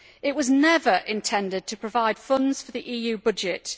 It was never intended to provide funds for the EU budget.